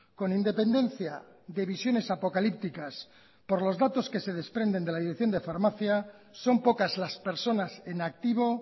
con independencia de visiones apocalípticas por los datos que se desprenden de la dirección de farmacia son pocas las personas en activo